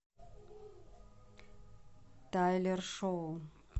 тайлер шоу